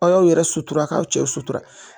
Aw y'aw yɛrɛ sutura k'aw cɛw sutura